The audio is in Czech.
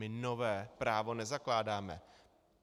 My nové právo nezakládáme.